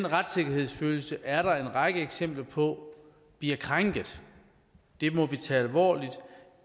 retssikkerhedsfølelsen er der en række eksempler på bliver krænket det må vi tage alvorligt og